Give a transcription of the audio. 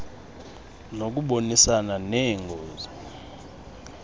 nokubonisana nee ngos